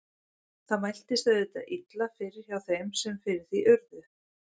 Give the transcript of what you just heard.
Það mæltist auðvitað illa fyrir hjá þeim sem fyrir því urðu.